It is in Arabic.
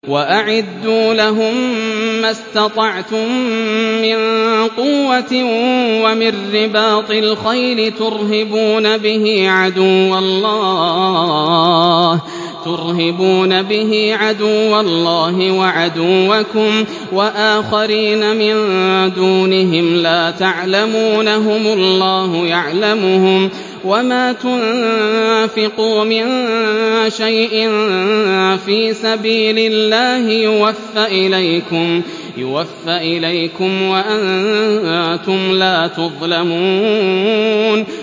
وَأَعِدُّوا لَهُم مَّا اسْتَطَعْتُم مِّن قُوَّةٍ وَمِن رِّبَاطِ الْخَيْلِ تُرْهِبُونَ بِهِ عَدُوَّ اللَّهِ وَعَدُوَّكُمْ وَآخَرِينَ مِن دُونِهِمْ لَا تَعْلَمُونَهُمُ اللَّهُ يَعْلَمُهُمْ ۚ وَمَا تُنفِقُوا مِن شَيْءٍ فِي سَبِيلِ اللَّهِ يُوَفَّ إِلَيْكُمْ وَأَنتُمْ لَا تُظْلَمُونَ